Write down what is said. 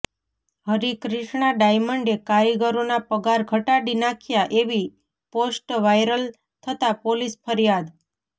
હરિક્રિષ્ણા ડાયમંડે કારીગરોના પગાર ઘટાડી નાખ્યા એવી પોષ્ટ વાયરલ થતા પોલીસ ફરિયાદ